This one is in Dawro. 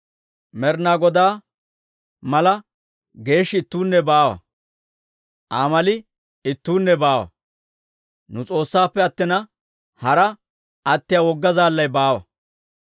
«Med'inaa Godaa mala geeshshi ittuunne baawa; Aa mali ittuunne baawa. Nu S'oossaappe attina, hara attiyaa wogga Zaallay baawa.